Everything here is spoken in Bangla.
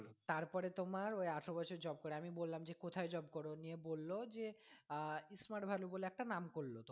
তারপরে তোমার ওই আঠারো বছর job করে আমি বললাম যে কোথায় job করো নিয়ে বললো যে আহ smart value বলে একটা নাম করলো।